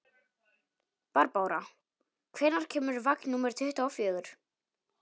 Barbára, hvenær kemur vagn númer tuttugu og fjögur?